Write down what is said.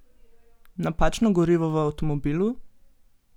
Napačno gorivo v avtomobilu?